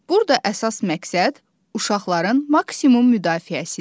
Burada əsas məqsəd uşaqların maksimum müdafiəsidir.